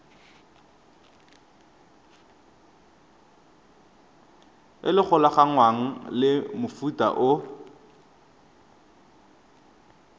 e golaganngwang le mofuta o